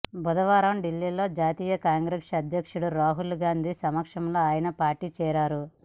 బుధవారం ఢిల్లీలో జాతీయ కాంగ్రెస్ అధ్యక్షుడు రాహుల్ గాంధీ సమక్షంలో ఆయన పార్టీలో చేరారు